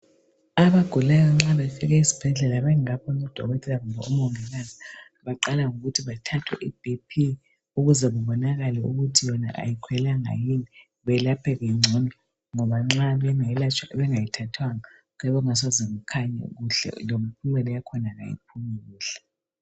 Abagulayo nxa befika esibhedlela bengakaboni udokotela kumbe umongikazi, baqala ngokuthi bathathwe iBP. Ukuze kubonakale ukuthi yona kayikhwelanga yini. Belapheke ngcono, ngoba nxa bengelatshwa bengayithathwanga, kuyabe kungasoze kukhanye kuhle. Lempumela yakhona kayiphumi kuhle.